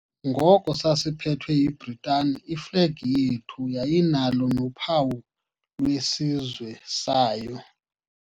Ngoko sasiphethwe yiBritani iflegi yethu yayinalo nophawu lwesizwe sayo.